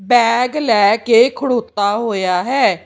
Bag ਲੈ ਕੇ ਖੜੁੱਤਾ ਹੋਇਆ ਹੈ।